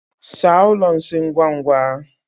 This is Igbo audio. Saa ụlọ nsị ngwa ngwa!